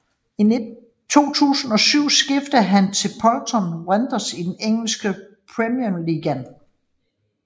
I 2007 skiftede han til Bolton Wanderers i den engelske Premier League